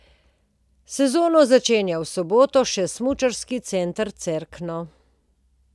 Sezono začenja v soboto še Smučarski center Cerkno.